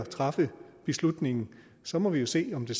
truffet beslutningen så må vi jo se om det